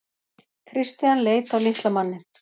Christian leit á litla manninn.